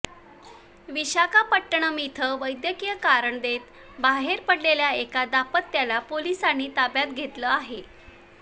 विशाखापट्टणम इथं वैद्यकीय कारण देत बाहेर पडलेल्या एका दाम्पत्याला पोलिसांनी ताब्यात घेतलं आहे